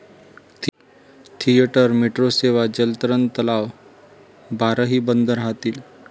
Theatre, metro सेवा, जलतरण तलाव, बारही बंद राहतील.